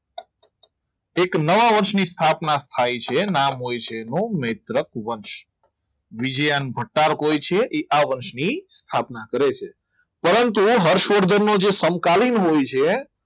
એક નવા વર્ષની સ્થાપના થાય છે નામ હોય છે એનું મૈત્રક વંશ વિજ્યાનો હોય છે એ આ વર્ષની સ્થાપના કરે છે પરંતુ હર્ષવર્ધનનો જે સમકાલીન હોય છે